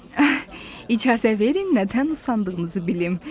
İcazə verin nədən usandığınızı bilim.